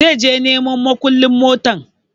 Zai je neman mukullun motan